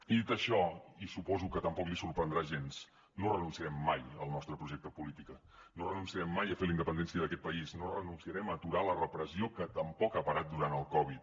i dit això i suposo que tampoc li sorprendrà gens no renunciarem mai al nostre projecte polític no renunciarem mai a fer la independència d’aquest país no renunciarem a aturar la repressió que tampoc ha parat durant el covid